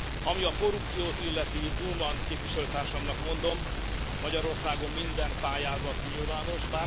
Ami a korrupciót illeti, Bullmann képviselőtársamnak mondom, Magyarországon minden pályázat nyilvános.